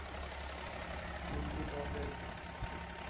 как бы управлять